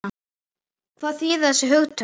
Hvað þýða þessi hugtök?